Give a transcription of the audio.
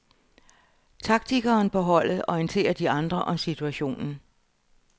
Taktikeren på holdet orienterer de andre om situationen.